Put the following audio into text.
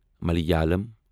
Malayalam